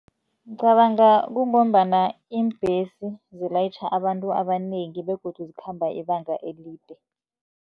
Ngicabanga kungombana iimbhesi zilayitjha abantu abanengi begodu zikhamba ibanga elide.